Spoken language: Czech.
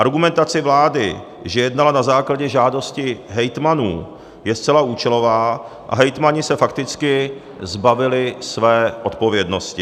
Argumentace vlády, že jednala na základě žádosti hejtmanů, je zcela účelová a hejtmani se fakticky zbavili své odpovědnosti.